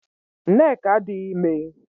Nneka adịghị ime